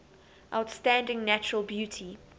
outstanding natural beauty